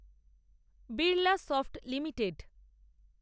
Birlasoft limited